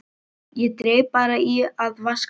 Ég dreif bara í að vaska upp.